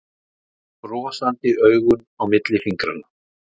Brosandi augun á milli fingranna.